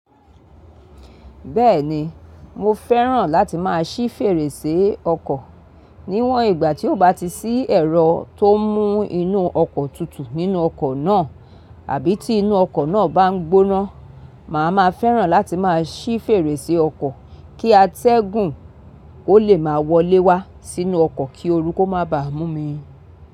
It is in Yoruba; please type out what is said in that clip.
Bẹ́ẹ̀ni, mo fẹ́ràn láti máa ṣí fèrèsé ọkọ̀. Níwọn ìgbà tí ó bá ti sí ẹ̀rọ tó ń mú inú ọkọ̀ tutù nínú ọkọ̀ náà àbí tí inú ọkọ̀ náà bá ń gbóná, màá ma fẹ́ràn láti máa ṣí fèrèsé ọkọ̀ kí atẹ́gùn ó lè máa wọlé wá sínú ọkọ̀ kí oru kó má ba mú mi.